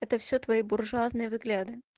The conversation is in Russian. это все твои буржуазные взгляды